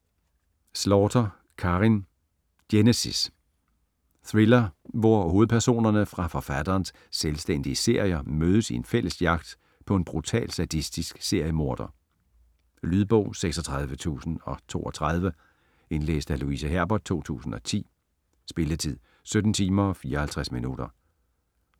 Slaughter, Karin: Genesis Thriller, hvor hovedpersonerne fra forfatterens selvstændige serier mødes i en fælles jagt på en brutal sadistisk seriemorder. Lydbog 36032 Indlæst af Louise Herbert, 2010. Spilletid: 17 timer, 54 minutter.